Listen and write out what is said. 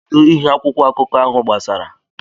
Kedu ihe akwụkwọ akụkọ ahụ gbasara?